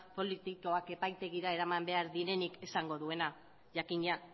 politikoak epaitegira eraman behar direnik esango duena jakina